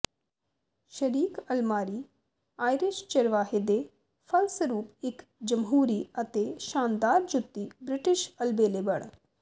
ਸ਼ਰੀਕ ਅਲਮਾਰੀ ਆਇਰਿਸ਼ ਚਰਵਾਹੇ ਦੇ ਫਲਸਰੂਪ ਇੱਕ ਜਮਹੂਰੀ ਅਤੇ ਸ਼ਾਨਦਾਰ ਜੁੱਤੀ ਬ੍ਰਿਟਿਸ਼ ਅਲਬੇਲੇ ਬਣ